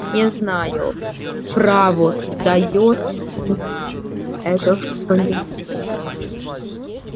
не знаю право даёт ли им это что-нибудь